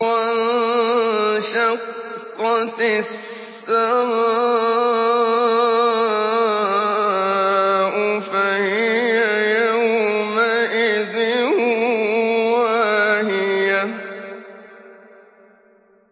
وَانشَقَّتِ السَّمَاءُ فَهِيَ يَوْمَئِذٍ وَاهِيَةٌ